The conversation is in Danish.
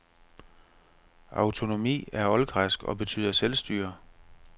Autonomi er oldgræsk og betyder selvstyre.